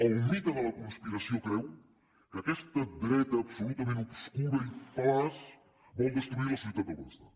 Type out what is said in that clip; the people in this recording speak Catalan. el mite de la conspiració creu que aquesta dreta absolutament obscura i fal·laç vol destruir la societat del benestar